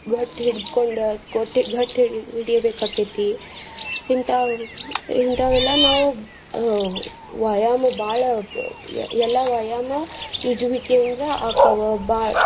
ಗಟ್ಟಿ ಹಿಡ್ದಕೊಂಡ್ ಒಟ್ಟ ಗಟ್ಟಿ ಹಿಡಿ~ ಹಿಡಿಬೇಕಾಕೇತಿ. ಹಿಂತಾವ್~ ಹಿಂತಾವೆಲ್ಲ ನಾವು ಅಹ್ ವ್ಯಾಯಾಮ ಬಾಳ ಎಲ್ಲಾ ವ್ಯಾಯಾಮ ಈಜುವಿಕೆ ಇಂದ್ರ ಆಕ್ಕಾವ.